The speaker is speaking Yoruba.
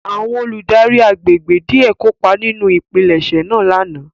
Àwọn oludari àgbégbé diẹ kopa ninu ipilẹṣẹ naa lana